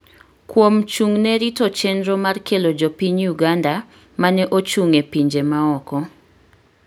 kuom chung'ne rito chenro mar kelo jopiny Uganda ma ne ochung’ e pinje ma oko.